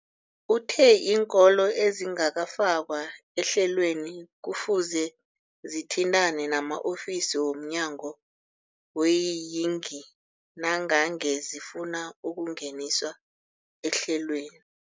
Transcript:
Uthe iinkolo ezingakafakwa ehlelweneli kufuze zithintane nama-ofisi wo mnyango weeyingi nangange zifuna ukungeniswa ehlelweni.